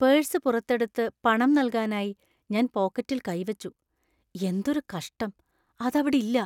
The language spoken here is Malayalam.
പേഴ്സ് പുറത്തെടുത്ത് പണം നൽകാനായി ഞാൻ പോക്കറ്റിൽ കൈ വച്ചു. എന്തൊരു കഷ്ടം, അതവിടില്ല.